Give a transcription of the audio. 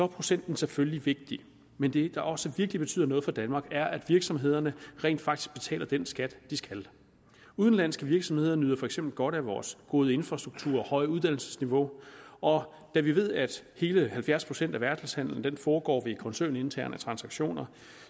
procenten selvfølgelig vigtig men det der også virkelig betyder noget for danmark er at virksomhederne rent faktisk betaler den skat de skal udenlandske virksomheder nyder for eksempel godt af vores gode infrastruktur og høje uddannelsesniveau og da vi ved at hele halvfjerds procent af verdenshandelen foregår ved koncerninterne transaktioner